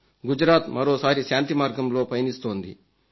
గుజరాత్ మరోసారి శాంతిమార్గంలో పయనిస్తోంది